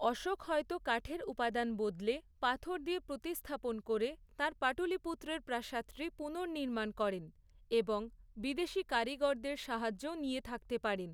অশোক হয়তো কাঠের উপাদান বদলে, পাথর দিয়ে প্রতিস্থাপন করে, তাঁর পাটলিপুত্রের প্রাসাদটি পুনর্নির্মাণ করেন, এবং বিদেশী কারিগরদের সাহায্যও নিয়ে থাকতে পারেন।